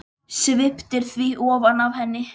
Sviptir því ofan af henni.